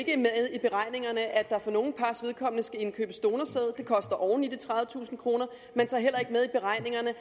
i beregningerne at der for nogle pars vedkommende skal indkøbes donorsæd det koster oven i de tredivetusind kroner man tager heller ikke med i beregningerne